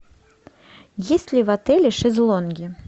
есть ли в отеле шезлонги